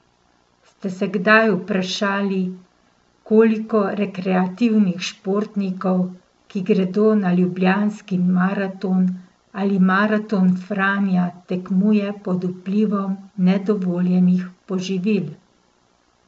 Ste se kdaj vprašali, koliko rekreativnih športnikov, ki gredo na Ljubljanski maraton ali Maraton Franja, tekmuje pod vplivom nedovoljenih poživil?